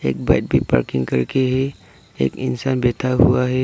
Bike भी parking करके है एक इंसान बैठा हुआ है।